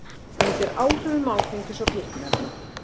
Undir áhrifum áfengis og fíkniefna